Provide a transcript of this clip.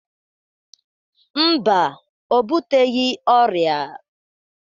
Mba, o buteghi ọrịa.